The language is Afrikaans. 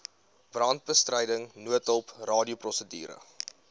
brandbestryding noodhulp radioprosedure